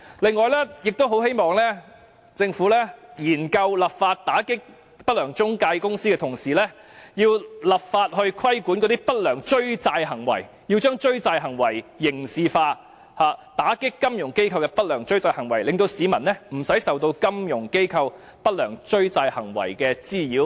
另外，我很希望政府在研究立法打擊不良中介公司的同時，亦立法規管不良追債行為，將追債行為刑事化，打擊金融機構的不良追債行為，讓市民免受金融機構不良追債行為的滋擾。